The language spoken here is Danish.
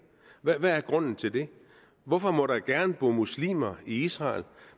hvad er grunden til det hvorfor må der gerne bo muslimer i israel